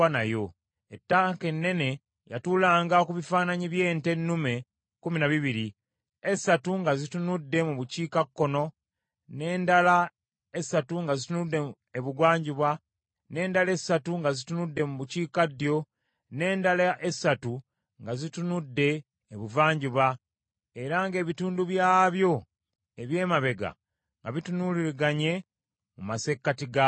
Ettanka ennene yatuulanga ku bifaananyi by’ente ennume kkumi na bbiri, esatu nga zitunudde mu bukiikakkono, n’endala essatu nga zitunudde ebugwanjuba, n’endala essatu nga zitunudde mu bukiikaddyo, n’endala essatu nga zitunudde ebuvanjuba, era ng’ebitundu byabyo eby’emabega nga bitunuuliraganye mu masekkati gaayo.